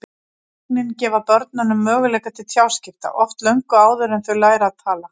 Táknin gefa börnunum möguleika til tjáskipta, oft löngu áður en þau læra að tala.